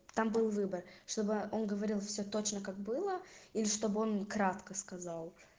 там был выбор чтобы он говорил все точно как было или чтобы он кратко сказал